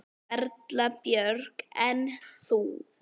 Erla Björg: En þú?